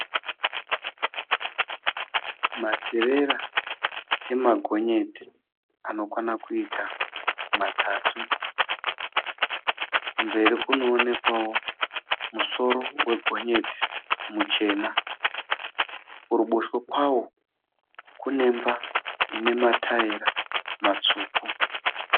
Materera emagonyeti anokwana kuita matatu. Kumberi kunoonekwawo musoro wegonyeti muchena. Kuruboshwe kwawo kunemba ine ma taera matsvuku.